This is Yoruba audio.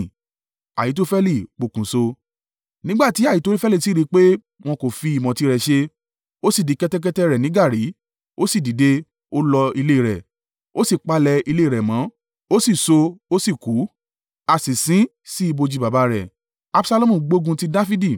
Nígbà tí Ahitofeli sì rí i pé wọn kò fi ìmọ̀ tirẹ̀ ṣe, ó sì di kẹ́tẹ́kẹ́tẹ́ rẹ̀ ni gàárì, ó sì dìde, ó lọ ilé rẹ̀, ó sì palẹ̀ ilé rẹ̀ mọ̀, ó sì so, ó sì kú, a sì sin ín sí ibojì baba rẹ̀. Absalomu gbógun ti Dafidi.